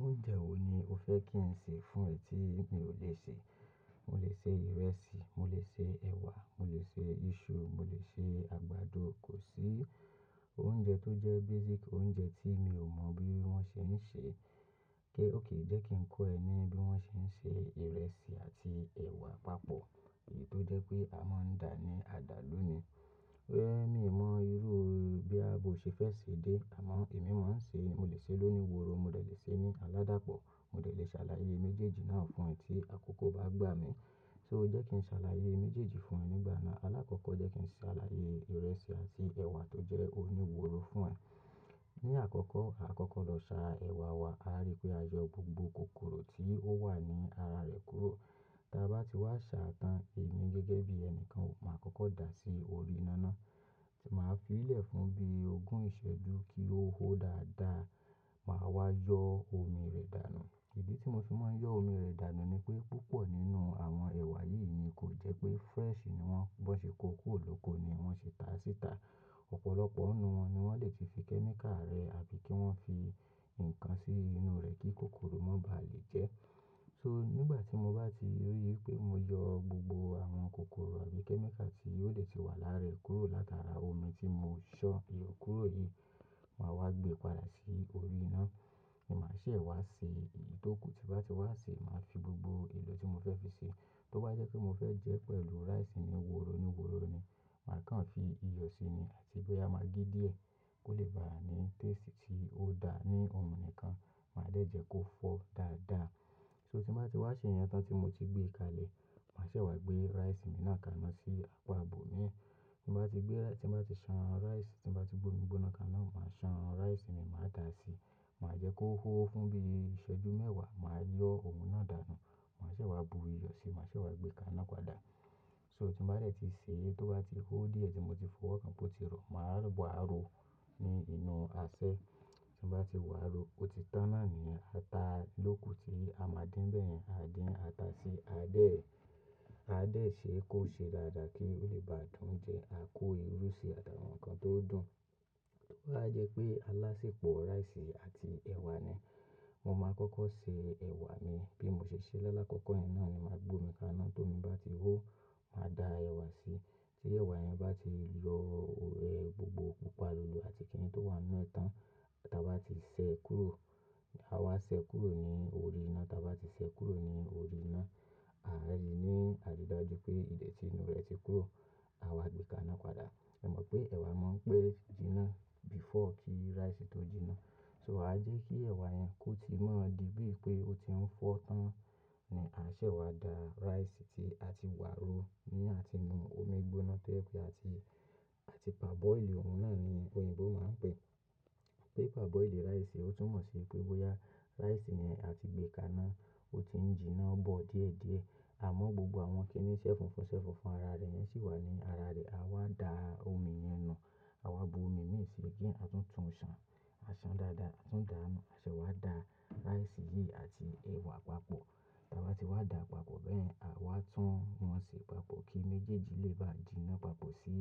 Oúnjẹ wo ni o fẹ́ kí n ṣe fún ẹ tí mi ò le ṣe? Mo lè ṣe ìrẹsì, mo lè ṣe ẹ̀wà, mo lè ṣe iṣu, mo lè ṣe àgbàdo. Kò sí oúnjẹ tó jẹ́ basic oúnjẹ tí mi ò mọ bí wọ́n ṣe ń ṣe. Gé, óké, jẹ́ kí n kọ́ ẹ ní bí wọ́n ṣe ń ṣe ìrẹsì àti ẹ̀wà papọ̀, èyí tó jẹ́ pé a máa ń dà ní àdàlú ni. Well, mi ò mọ irú bí àbo ṣe fẹ́ sè dé, àmọ́ èmi máa ń ṣe, mo lè ṣe lóníworó, mo lè ṣe ní aládàpọ̀, mo lè ṣàlàyé méjèèjì náà fún ẹ tí àkókò bá gbà mí. So jẹ́ kí n ṣàlàyé méjèèjì fún ẹ nígbà náà. Alákọ́kọ́ jẹ́ kí n ṣàlàyé ìrẹsì àti ẹ̀wà tó jẹ́ oníworó fún ẹ. Ní àkọ́kọ́, a kọ́kọ́ lọ sa ẹ̀wà wa. A rí pé a yọ gbogbo kòkòrò tí ó wà ní ara rẹ̀ kúrò. Táa bá ti wá sa tán, èmi gẹ́gẹ́ bí ẹni kan, màá kọ́kọ́ dà á sí orí iná ná. Màá fi í lẹ̀ fún bí ogún ìṣẹ́jú kí ó hó dáadáa. Màá wá yọ omi rẹ̀ dànù. Ìdí tí mo fi máa ń yọ omi rẹ̀ dànù ni pé, púpọ̀ nínú àwọn ẹ̀wà yìí ni kò jẹ́ pé fresh ni wọ́n. Wọ́n ṣe kó kú òlóko ni wọ́n ṣe tá sì ta. Ọ̀pọ̀lọpọ̀ nínú wọn ni wọ́n lè ti fi kẹ́míkà rẹ àbí kí wọ́n fi ǹkan sí inú rẹ̀ kí kòkòrò má ba à lè jẹ́. So nígbà tí mo bá ti rí i pé mo yọ gbogbo àwọn kòkòrò àbí kẹ́míkà tí yóò lè ti wà lára rẹ̀ kúrò látara omi tí mo ṣọ ìyọ̀ kúrò yìí, màá wá gbé padà sí orí iná. Èmi máa ṣẹ̀ wá ṣe, èyí tó kù tí bá ti wá ṣe, màá fi gbogbo èlò tí mo fẹ́ fi ṣe. Tó bá jẹ́ pé mo fẹ́ jẹ́ pẹ̀lú rice ni, woro ni woro ni. Màá kan fi iyọ̀ si ni àti bóya máa gbé díẹ̀ kó lè báa ní taste tí ó dáa ní ohun nìkan. Màá dẹ̀ jẹ́ kó fọ́ dáadáa. So tí bá ti wá ṣe ìyẹn tán tí mo ti gbé e kalẹ̀, màá ṣẹ̀ wá gbé rice mi náà kaná sí apá abò mí ẹ. Tí bá ti gbé rice, tí bá ti ṣan rice, tí bá ti bu omi gbóná kaná, màá ṣan rice mi, màá dà á síi. Màá jẹ́ kó hó fún bí ìṣẹ́jú mẹ́wàá, màá yọ ohun náà dànù. Màá ṣẹ̀ wá bu iyọ̀ síi, màá ṣẹ̀ wá gbé e kaná padà. So tí bá rẹ̀ ti ṣe, tó bá ti hó díẹ̀ tí mo ti fọ́, kí n po ti rọ̀, màá wá ro ní inú asẹ́. Tí bá ti wá ro, ó ti tana ni ata lóko tí a máa dín bẹ́ẹ̀ yẹn. A dín ata sí, a dè ẹ́, a dè ẹ́ ṣé kó ṣe dáadáa kí ó lè bá dùn jẹ. A kó irú ṣe àtàwọn nǹkan tó dùn. Tó bá jẹ́ pé alásè pọ̀ rice àti ẹ̀wà ni, mo máa kọ́kọ́ ṣe ẹ̀wà mi. Bí mo ṣe ṣe ẹ́ lọ́lákọ̀ọ̀kọ́, ìnáà ni màá gbó mi kaná. Tó mi bá ti hó, màá da ẹ̀wà síi. Tí ẹ̀wà yẹn bá ti yọ ẹ gbogbo púpà lulu àti kíni tó wà nínú ẹ tán, táa bá ti ṣẹ kúrò, a wá ṣẹ kúrò ní orí iná. Táa bá ti ṣẹ kúrò ní orí iná, a rí i ní àdúrà ju pé ìdẹ̀ tí inú rẹ̀ ti kúrò. A wá gbé e kaná padà. Ẹ mọ̀ pé ẹ̀wà máa ń pẹ́ jiná before kí rice tó jiná. So a jẹ́ kí ẹ̀wà yẹn kó ti mọ́ di bí i pé ó ti ń fọ́ tán ni a ṣẹ̀ wá da rice tí a ti wá ro ní àtinú omi gbóná tó jẹ́ pé àti, àti parboil ohun náà ni òyìnbó máa ń pè é. Bí a parboil rice, ó tún mọ̀ sí i pé bóyá rice yẹn a ti gbé e kaná, ó ti ń jiná bọ̀ díẹ̀díẹ̀. Àmọ́ gbogbo àwọn kínní ṣẹ́fun fún ṣẹ́fun ara rẹ̀ yẹn sì wà ní ara rẹ̀. A wá da omi yẹn nù, a wá bu omi méje síi kí a tún tún ṣan. A san dáadáa, a tún dà á nù. A ṣẹ̀ wá da rice yìí àti ẹ̀wà papọ̀. Táa bá ti wá dà á papọ̀ bẹ́ẹ̀, a wá tún wọn ṣe papọ̀ kí méjèèjì lè bá jiná papọ̀ sí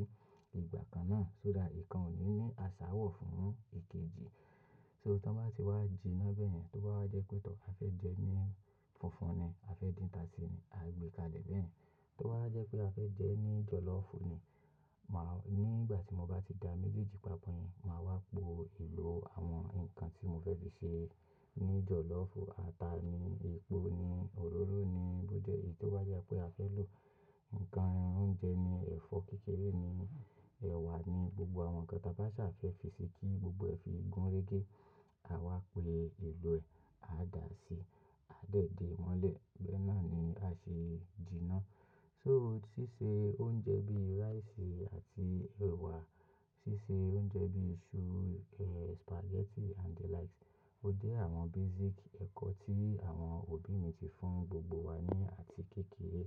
ìgbà kan náà so that nǹkan ò ní ní aṣá wọ̀ fún èkejì. So tí wọ́n bá ti wá jiná bẹ́ẹ̀ yẹn, tó bá wá jẹ́ pé tọ̀, a fẹ́ jẹ ẹ́ ní funfun ni, a fẹ́ dín ata síi ni, a gbé e kalẹ̀ bẹ́ẹ̀ yẹn. Tó bá jẹ́ pé a fẹ́ jẹ ẹ́ ní jọ̀lọ́ọ̀fù ni, màá nígbà tí mo bá ti da méjèèjì papọ̀ yẹn, màá wá po èlò àwọn ǹkan tí mo fẹ́ fi ṣe ní jọ̀lọ́ọ̀fù. Ata ni, epo ni, òróró ni, bó jẹ́ èyí tó bá jẹ́ pé a fẹ́ lò ǹkan oúnjẹ ni, ẹ̀fọ́ kékeré ni, ẹ̀wà ni, gbogbo àwọn nǹkan táa bá ṣà fẹ́ fi ṣe kí gbogbo ẹ fi gún régé. A wá pe èlò ẹ, a dà á síi, a dẹ̀ dé mọ́lẹ̀. Bẹ́ẹ̀ náà ni a ṣe jiná. So ṣíṣe oúnjẹ bí rice àti ẹ̀wà, ṣíṣe oúnjẹ bí iṣu, eh, spaghetti and the likes, ó jẹ́ àwọn basic ẹ̀kọ́ tí àwọn òbí mi ti fún gbogbo wa ní àti kéékèè.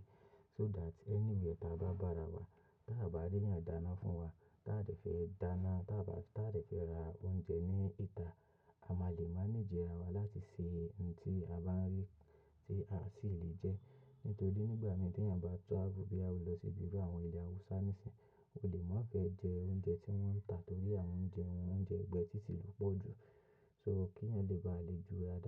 So that anywhere táa bá bára wa, táa bá rí ẹ̀yàn dáná fún wa, táa sì fẹ́ dáná, táa sì fẹ́ ra oúnjẹ ní ìta, a máa le manage ara wa láti ṣe ohun tí a bá ń rí tí a sì lè jẹ́. Nítorí nígbà mídẹ̀yàn bá travel bí a bá lọ sí ibi àwọn ilẹ̀ Awúsá nísìínyi, o lè má fẹ́ jẹ oúnjẹ tí wọ́n ń tà torí àwọn oúnjẹ wọn, oúnjẹ ẹ̀gbẹ́ títì ló pọ̀ jù. So kí ẹ̀yàn lè bá lè ju ara rẹ̀.